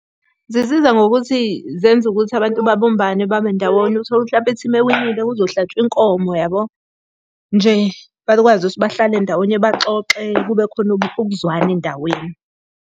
Zisiza ngokuthi, zenza ukuthi abantu babumbane babendawonye, uthole ukuthi hlampe ithimu ewinile kuzohlatshwa inkomo yabo. Nje bakwazi ukuthi bahlale ndawonye baxoxe kube khona ukuzwana endaweni.